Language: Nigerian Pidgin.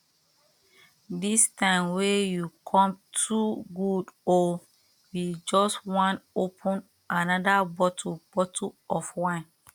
this time wey you come too good o we just wan open another bottle bottle of wine